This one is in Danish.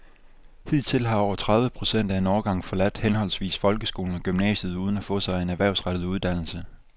Hidtil har over tredive procent af en årgang forladt henholdsvis folkeskolen og gymnasiet uden at få sig en erhvervsrettet uddannelse.